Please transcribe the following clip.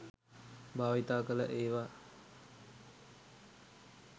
භාවිතා කළ ඒවා